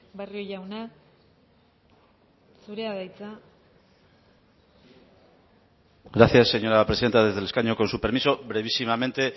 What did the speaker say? barrio jauna zurea da hitza gracias señora presidenta desde el escaño con su permiso brevísimamente